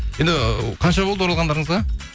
енді қанша болды оралғандарыңызға